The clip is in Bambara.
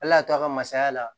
Ala y'a to a ka masaya la